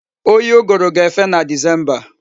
Oyi uguru ga-efe na disemba.